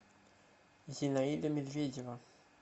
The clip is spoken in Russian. зинаида медведева